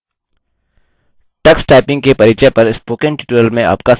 tux typing के परिचय पर स्पोकन ट्यूटोरियल में आपका स्वागत है